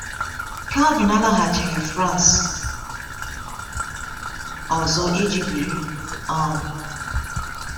Calvin alaghachighị France ọzọ iji biri. um